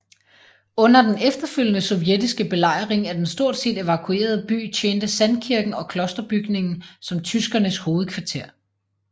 Under den efterfølgende sovjetiske belejring af den stort set evakuerede by tjente Sandkirken og klosterbygningen som tyskernes hovedkvarter